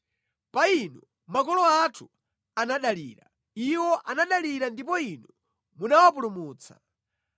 Pa inu makolo athu anadalira; iwo anadalira ndipo Inu munawapulumutsa.